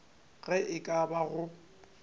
ge e ka ba go